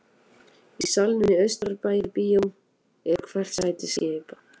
Í salnum í Austurbæjarbíói er hvert sæti skipað